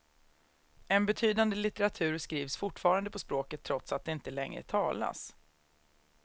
En betydande litteratur skrivs fortfarande på språket trots att det inte längre talas.